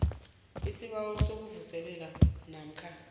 isibawo sokuvuselelwa namkha